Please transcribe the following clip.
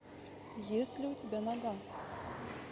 есть ли у тебя нога